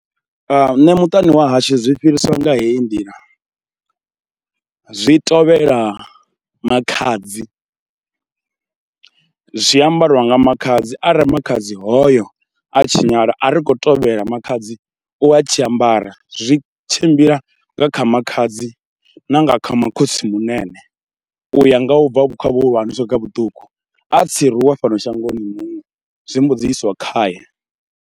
Nṋe muṱani wa hashu zwi fhirisa nga heyi nḓila, zwi tovhela makhadzi, zwi ambariwa nga makhadzi arali makhadzi hoyo a tshinyala a ri khou tovhela makhadzi u a tshi ambara, zwi tshimbila nga kha makhadzi na nga kha makhotsimunene, u ya nga u bva kha vhuhulwane swika kha vhuṱuku. A tsiruwa fhano shangoni muṅwe zwi mbo dzi iswa khae.